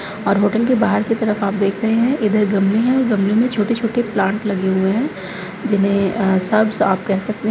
और होटल के बाहर की तरफ आप देख रहे हैं इधर गमले है गमले में छोटे छोटे प्लांट लगे हुए है जिन्हे अ श्रब्स आप कह सकते हैं |